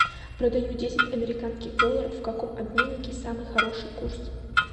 продаю десять американских долларов в каком обменнике самый хороший курс